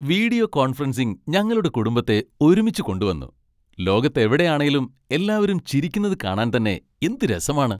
Video conferencing ഞങ്ങളുടെ കുടുംബത്തെ ഒരുമിച്ച് കൊണ്ടുവന്നു, ലോകത്തെവിടെ ആണേലും എല്ലാരും ചിരിക്കുന്നത് കാണാൻ തന്നെ എന്ത് രസമാണ്.